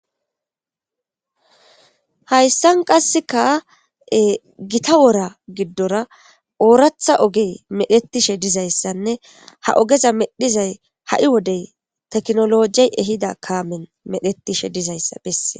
Hayssan qasseka gita wora giddora ooratha ogey medhetishe dizayssanne ha ogeza medhizay ha7i wodey teknolojey ehida kaamen medhetishe dizayssa besse.